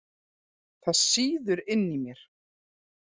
Það sýður inni í mér.